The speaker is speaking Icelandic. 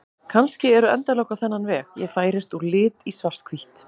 Kannski eru endalok á þennan veg: Ég færist úr lit í svarthvítt.